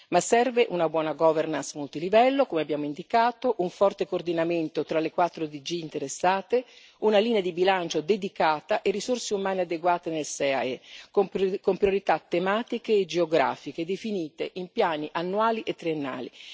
Ma servono una buona governance multilivello, come abbiamo indicato, un forte coordinamento tra le quattro DG interessate, una linea di bilancio dedicata e risorse umane adeguate nel SEAE, con priorità tematiche e geografiche definite in piani annuali e triennali.